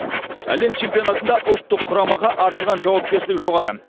әлем чемпионатында ұлттық құрамаға артылған жауапкершілік жоғары